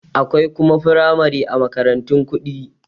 Akwai kuma firamare a makarantun kuɗi